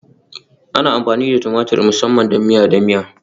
Ana amfani da tumatur musamman don miya da miya